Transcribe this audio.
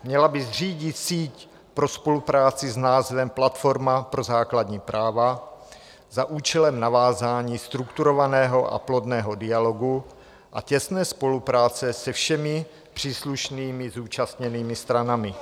Měla by zřídit síť pro spolupráci s názvem Platforma pro základní práva za účelem navázání strukturovaného a plodného dialogu a těsné spolupráce se všemi příslušnými zúčastněnými stranami."